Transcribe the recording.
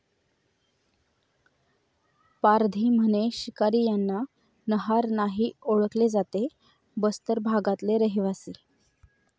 पारधी म्हणे शिकारी यांना नहार नाही ओळखले जाते बस्तर भागातले रहिवासी